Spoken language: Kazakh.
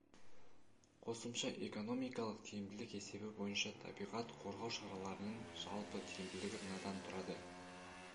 қосымша экономикалық тиімділік есебі бойынша табиғат қорғау шараларының жалпы тиімділігі мынадан тұрады